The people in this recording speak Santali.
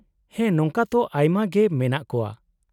-ᱦᱮᱸ ᱱᱚᱝᱠᱟ ᱛᱚ ᱟᱭᱢᱟ ᱜᱮ ᱢᱮᱱᱟᱜ ᱠᱚᱣᱟ ᱾